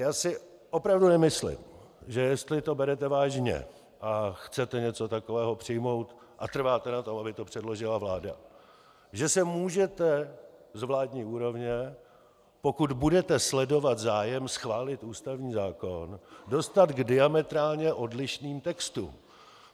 Já si opravdu nemyslím, že jestli to berete vážně a chcete něco takového přijmout a trváte na tom, aby to předložila vláda, že se můžete z vládní úrovně, pokud budete sledovat zájem schválit ústavní zákon, dostat k diametrálně odlišným textům.